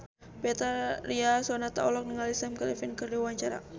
Betharia Sonata olohok ningali Sam Claflin keur diwawancara